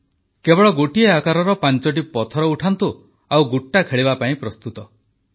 କେବଳ ଗୋଟିଏ ଆକାରର ପାଞ୍ଚଟି ଛୋଟ ପଥର ଉଠାନ୍ତୁ ଆଉ ଗୁଟ୍ଟା ଖେଳିବା ପାଇଁ ପ୍ରସ୍ତୁତ ହୁଅନ୍ତୁ